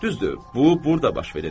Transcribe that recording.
Düzdür, bu burda baş verir.